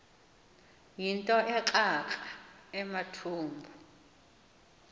yinto ekrakra amathumbu